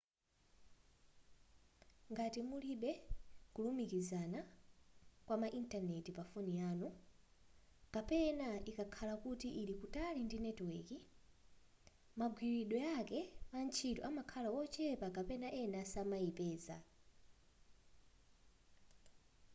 ngati mulibe kulumikizana kwama intaneti pafoni yanu kapena ikakhala kuti ili kutali ndi netiweki magwiridwe ake antchito amakhala ochepa kapena ena samayipeza